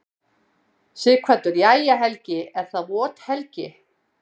Sighvatur: Jæja, Helgi er það vot helgi?